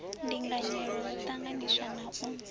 ndinganyelo ho ṱanganyiswa na u